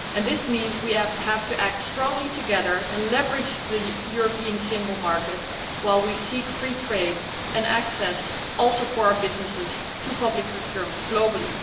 This means we have to act strongly together and leverage the European single market while seeking free trade and access, also for our businesses, to public procurement globally.